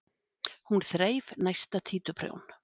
Hún þreif næsta títuprjón.